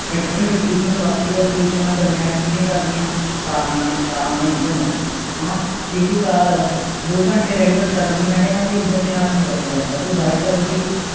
Factory ਤੇ ਵੱਧ Pollution ਗਾਰਮਹੇਸ਼ ਕਿੱਥੇ ਕਰਦੇ ਹਾਂ ਕਾਰਾ ਦੇ ਕਾਰਾ ਦਾ Engine ਹੈ ਜੇ ਕੋਈ Car ਦੋ ਘੰਟਿਆਂ Regular ਚੱਲ ਗਈ ਤੇ ਮੈਂ ਕਹਿਣਾ ਕਿ ਉਹਦੇ Engine ਤੇ ਹਾਥ ਨਹੀਂ ਰੱਖਿਆ ਜਾਣਾ ਕੋਈ